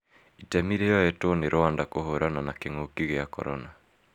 Itemi rĩoetwe nĩ Rwanda kũhurana na kĩngũki kĩa corona